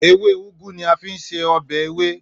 Èwe Ugwu ni a fi ń se ọbẹ̀ ewé